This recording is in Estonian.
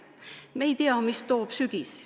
Me ei tea, mida toob sügis.